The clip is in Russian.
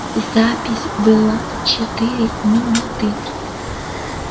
запись была четыре минуты